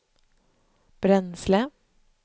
bränsle